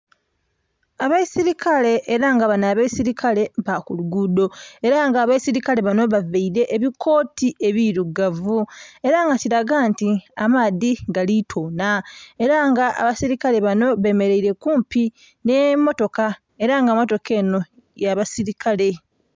Abeisilikale era nga banho abeisilikale ba ku lugudho era nga abeisilikale banho bavaire ebikoti ebirugavu era nga kilaga nti amaadhi gali tonha era nga abeisilikale banho bemereire kumpi nhe motoka era nga motoka enho ya basilikale.